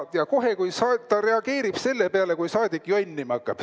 Ja kohe ta reageerib selle peale, kui saadik jonnima hakkab.